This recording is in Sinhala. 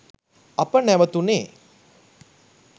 අප නැවතුණේ